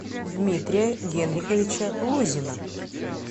дмитрия генриховича лузина